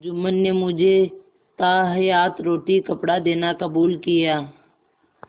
जुम्मन ने मुझे ताहयात रोटीकपड़ा देना कबूल किया